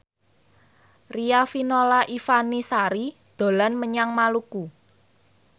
Riafinola Ifani Sari dolan menyang Maluku